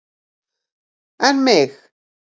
En mig.